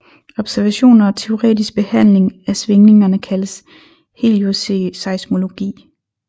Observationer og teoretisk behandling af svingningerne kaldes helioseismologi